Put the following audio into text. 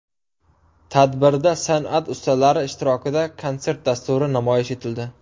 Tadbirda san’at ustalari ishtirokida konsert dasturi namoyish etildi.